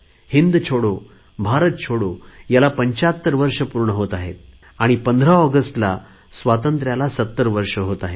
हिंद छोडो भारत छोडो ह्याला 75 वर्षे पूर्ण होत आहेत आणि 15 ऑगस्टला स्वातंत्र्याला 70 वर्षे होत आहेत